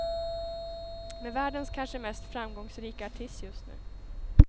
Med världens kanske mest framgångsrika artist just nu.